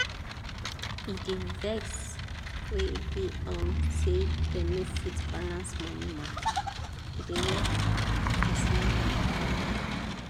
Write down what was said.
e dey vex wen be um say dem no fit balance money mata e dey wear person mind down.